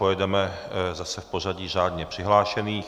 Pojedeme zase v pořadí řádně přihlášených.